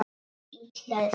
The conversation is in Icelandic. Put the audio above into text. Illa sek.